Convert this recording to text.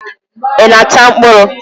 Ị na-ata mkpụrụ?